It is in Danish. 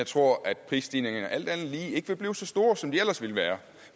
tror at prisstigningerne alt andet lige ikke vil blive så store som de ellers ville være